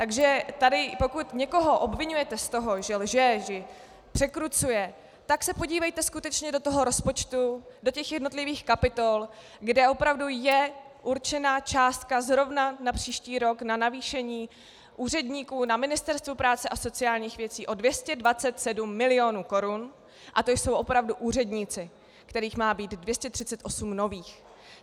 Takže tady pokud někoho obviňujete z toho, že lže, že překrucuje, tak se podívejte skutečně do toho rozpočtu, do těch jednotlivých kapitol, kde opravdu je určena částka zrovna na příští rok na navýšení úředníků na Ministerstvu práce a sociálních věcí o 227 milionů korun, a to jsou opravdu úředníci, kterých má být 238 nových.